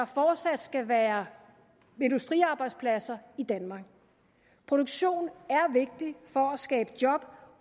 fortsat skal være industriarbejdspladser i danmark produktion er vigtig for at skabe job